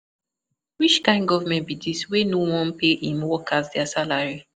Which kin government be dis wey no wan pay im workers their salary